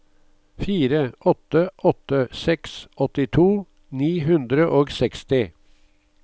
fire åtte åtte seks åttito ni hundre og seksti